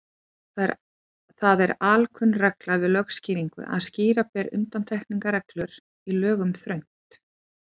Það er alkunn regla við lögskýringar að skýra ber undantekningarreglur í lögum þröngt.